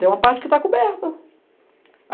Tem uma parte que tá coberta.